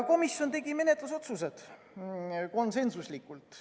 Komisjon tegi menetlusotsused konsensuslikult.